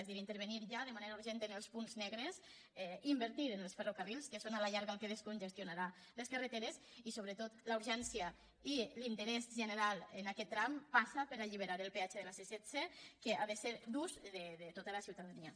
és a dir intervenir ja de manera urgent en els punts negres invertir en els fer·rocarrils que són a la llarga el que descongestionarà les carreteres i sobretot la urgència i l’interès general en aquest tram passa per alliberar el peatge de la c·setze que ha de ser d’ús de tota la ciutadania